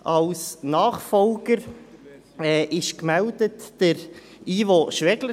Als Nachfolger ist Ivo Schwegler gemeldet.